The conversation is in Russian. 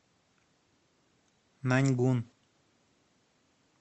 наньгун